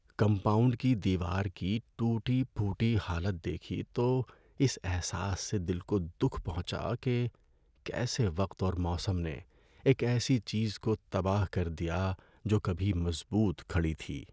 Compound کی دیوار کی ٹوٹی پھوٹی حالت دیکھی تو اس احساس سے دل کو دکھ پہنچا کہ کیسے وقت اور موسم نے ایک ایسی چیز کو تباہ کر دیا جو کبھی مضبوط کھڑی تھی۔